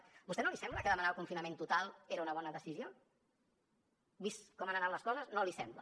a vostè no li sembla que demanar el confinament total era una bona decisió vist com han anat les coses no l’hi sembla